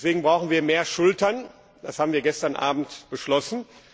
Deswegen brauchen wir mehr Schultern, das haben wir gestern Abend beschlossen.